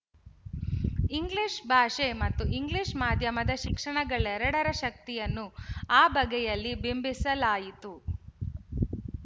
English ಭಾಷೆ ಮತ್ತು English ಮಾಧ್ಯಮದ ಶಿಕ್ಷಣಗಳೆರಡರ ಶಕ್ತಿಯನ್ನು ಆ ಬಗೆಯಲ್ಲಿ ಬಿಂಬಿಸಲಾಯಿತು